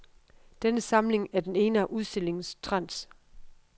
Denne samling er den ene af udstillingens trends.